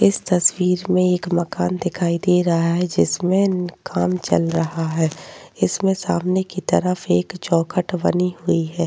इस तस्वीर मे एक मकान दिखाई दे रहा है। जिसमे काम चल रहा है। इसमे सामने कि तरफ एक चौखट बनी हुई है।